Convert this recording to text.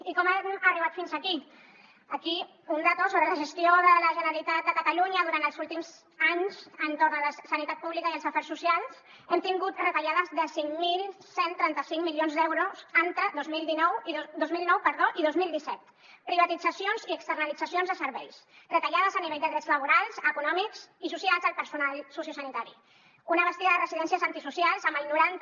i com hem arribat fins aquí aquí una dada sobre la gestió de la generalitat de catalunya durant els últims anys entorn de la sanitat pública i els afers socials hem tingut retallades de cinc mil cent i trenta cinc milions d’euros entre dos mil nou i dos mil disset privatitzacions i externalitzacions de serveis retallades a nivell de drets laborals econòmics i socials al personal sociosanitari un abast de residències antisocials amb el noranta